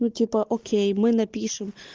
ну типо окей мы напишем